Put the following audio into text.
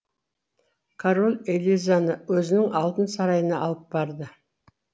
король элизаны өзінің алтын сарайына алып барды